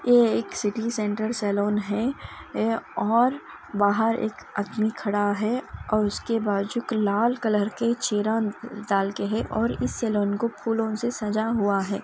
और बाहर एक आदमी खड़ा है और उसके बाद जो कल लाल कलर के चेहरा दल के हैं और इस सालों को फूलों से सजा हुआ है एक सिटी--